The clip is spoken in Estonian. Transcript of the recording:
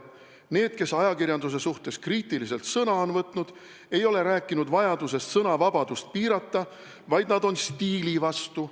Need, kes ajakirjanduse suhtes kriitiliselt sõna on võtnud, ei ole rääkinud vajadusest sõnavabadust piirata, vaid nad on stiili vastu.